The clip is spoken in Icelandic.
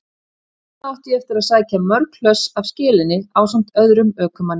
Þangað átti ég eftir að sækja mörg hlöss af skelinni ásamt öðrum ökumanni.